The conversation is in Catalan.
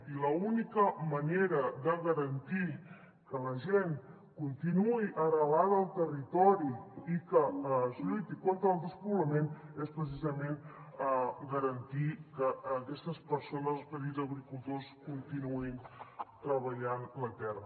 i l’única manera de garantir que la gent continuï arrelada al territori i que es lluiti contra el despoblament és precisament garantir que aquestes persones els petits agricultors continuïn treballant la terra